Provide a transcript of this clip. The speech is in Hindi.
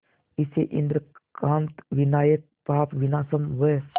इसे इंद्रकांत विनायक पापविनाशम व